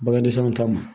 Bagandisɔn ta ma